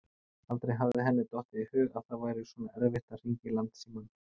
Aldrei hafði henni dottið í hug að það væri svona erfitt að hringja í Landsímann.